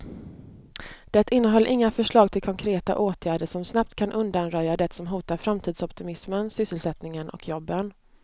Det innehöll inga förslag till konkreta åtgärder som snabbt kan undanröja det som hotar framtidsoptimismen, sysselsättningen och jobben.